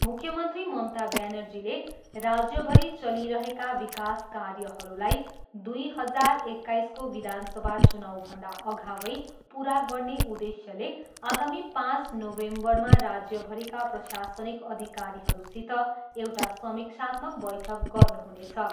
मुख्यमन्त्री ममता ब्यानर्जीले राज्यभरि चलिरहेका विकास कार्यहरूलाई दुई हजार एक्काइसको विधानसभा चुनाउभन्दा अगवै पुरा गर्ने उद्देश्यले आगामी पाँच नोभेम्बरमा राज्यभरिका प्रशासनिक अधिकारीहरूसित एउटा समीक्षात्मक बैठक गर्नुहुनेछ।